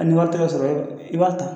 ni wari tɛ ka sɔrɔ, i b'a ta.